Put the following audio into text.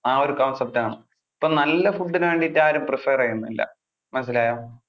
ആ ഒരു concept ആണ്. ഇപ്പൊ നല്ല food നു വേണ്ടിട്ട് ആരും prefer ചെയ്യുന്നില്ല, മനസ്സിലായോ.